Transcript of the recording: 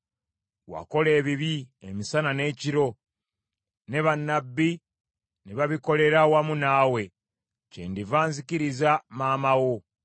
Wakola ebibi emisana n’ekiro, ne bannabbi ne babikolera wamu naawe; kyendiva nzikiriza maama wo.